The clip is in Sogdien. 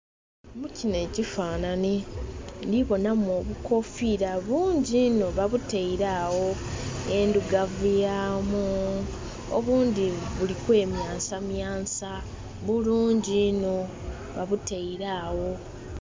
Mu kinho ekifanhanhi ndhi bonamu obukofiira bungi inho babutaile agho edhugavu yamu obundhi buli kwemyansamyansa. Bulungi inho babutaile agho